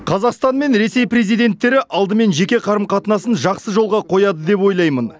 қазақстан мен ресей президенттері алдымен жеке қарым қатынасын жақсы жолға қояды деп ойлаймын